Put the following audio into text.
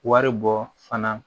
Wari bɔ fana